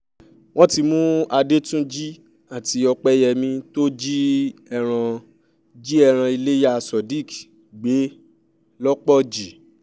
wọ́n ti mú adétúnjì àti ọ̀pẹyẹmí tó jí ẹran jí ẹran ilẹ́yà sodiq gbé lọ́pọ̀jì